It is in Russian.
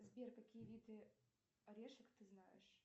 сбер какие виды орешек ты знаешь